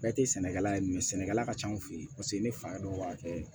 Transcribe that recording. Bɛɛ tɛ sɛnɛkɛla ye sɛnɛkɛla ka ca an fɛ yen paseke ne fa dɔ b'a kɛ